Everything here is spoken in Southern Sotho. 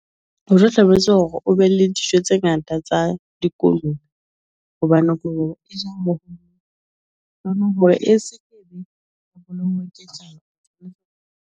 Ho hlalosetsa hore o be le dijo tse ngata tsa dikoloi hobane e se .